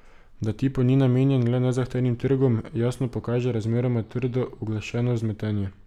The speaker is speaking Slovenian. Da tipo ni namenjen le nezahtevnim trgom, jasno pokaže razmeroma trdo uglašeno vzmetenje.